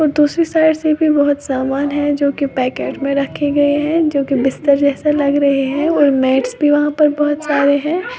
दूसरी साइड से बहुत सा समान है जो की पैकेट में रखे हुए हैं जो कि बिस्तर जैसे लग रहे हैं और मैटस भी वहा पर बहोत सारे है।